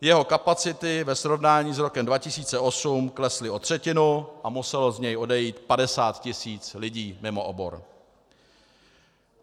Jeho kapacity ve srovnání s rokem 2008 klesly o třetinu a muselo z něj odejít 50 tis. lidí mimo obor.